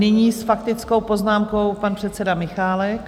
Nyní s faktickou poznámkou pan předseda Michálek.